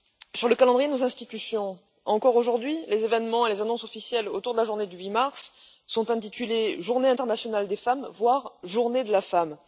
Sur le calendrier de nos institutions, aujourd'hui encore, les événements et les annonces officielles autour de la journée du 8 mars sont intitulés Journée internationale des femmes, voire Journée de la femme.